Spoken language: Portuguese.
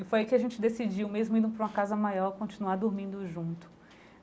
E foi aí que a gente decidiu, mesmo indo para uma casa maior, continuar dormindo junto.